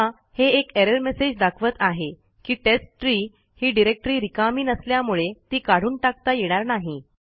बघा हे एक एरर मेसेज दाखवत आहे की टेस्टट्री ही डिरेक्टरी रिकामी नसल्यामुळे ती काढून टाकता येणार नाही